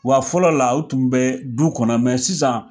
Wa fɔlɔ la, u tun bɛ du kɔnɔ ,mɛn sisan